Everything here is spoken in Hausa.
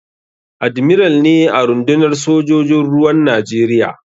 Admiral ne a rundunar sojojin ruwan Najeriya.